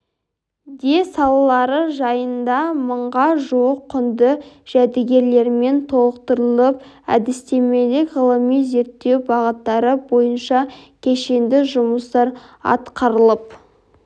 де салалары жайында мыңға жуық құнды жәдігерлермен толықтырылып әдістемелік ғылыми-зерттеу бағыттары бойынша кешенді жұмыстар атқарылып